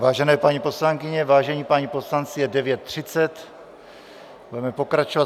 Vážené paní poslankyně, vážení páni poslanci, je 9.30, budeme pokračovat.